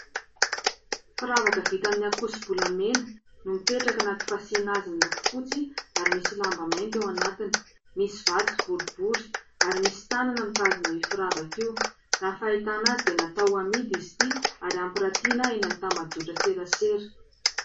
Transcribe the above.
Firavaka vita amin'ny ankoso-bolamena no mipetraka anaty fasiana azy miloko fotsy ary misy lamba mainty eo anatiny, misy vato boribory ary misy tanana mitazona firavaka io. Raha ny fahitana azy dia natao ho amidy izy ity ary hampirantiana eny amin'ny tambajotra serasera.